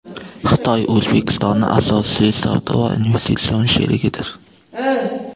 Xitoy O‘zbekistonning asosiy savdo va investitsion sherigidir.